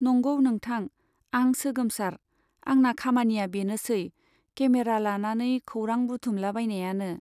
नंगौ नोंथां , आं सोगोमसार , आंना खामानिया बेनोसै , केमेरा लानानै खौरां बुथुमलाबायनायानो।